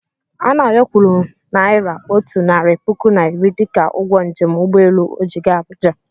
Anayọ kwụrụ naira otu narị puku na iri dịka ụgwọ njem ụgbọelu ọ ji gaa Abuja.